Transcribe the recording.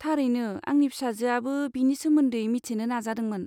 थारैनो, आंनि फिसाजोआबो बेनि सोमोन्दै मिथिनो नाजादोंमोन।